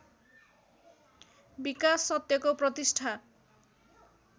विकास सत्यको प्रतिष्ठा